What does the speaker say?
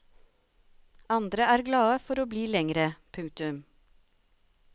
Andre er glade for å bli lengre. punktum